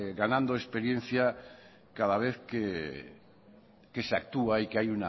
ganando experiencia cada vez que se actúa y que hay